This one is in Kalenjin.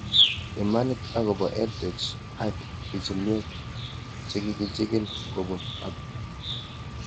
Imanit akopo EdTech ak pichinwek chekikechikil kopun Hub